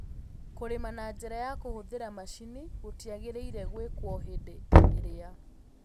Kũrĩma na njĩra ya kũhũthĩra macini gũtiagĩrĩire gwĩkwo hĩndĩ ĩrĩa